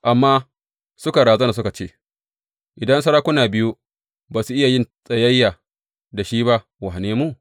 Amma suka razana suka ce, Idan sarakuna biyu ba su iya yin tsayayya da shi ba, wane mu?